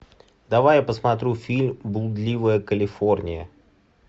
давай я посмотрю фильм блудливая калифорния